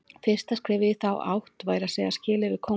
Fyrsta skrefið í þá átt væri að segja skilið við kónginn.